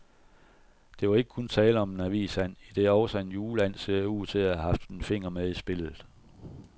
Der var ikke kun tale om en avisand, idet også en juleand ser ud til at have haft en finger med i spillet.